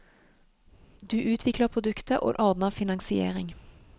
Du utvikler produktet, og ordner finansiering.